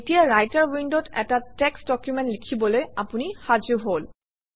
এতিয়া ৰাইটাৰ উইণ্ডত এটা টেক্সট ডকুমেণ্ট লিখিবলৈ আপুনি সাজু হল